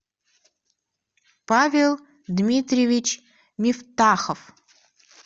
павел дмитриевич мифтахов